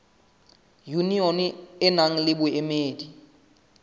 yunione e nang le boemedi